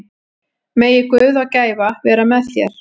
Megi Guð og gæfa vera með þér.